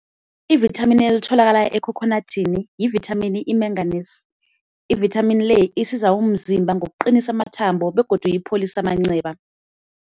Ivithamini elitholakala ekhokhonathini yivithamini i-menganese, ivithamini le isiza umzimba ngokuqinisa amathambo begodu ipholisa amanceba.